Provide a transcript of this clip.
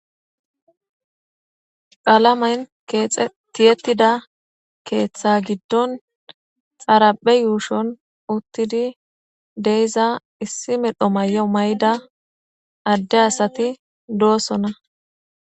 Qalamen kexet tiyetida ketha gidon xaraphe yuushon utid de7iza issi medho mayo mayida ade asat dosona.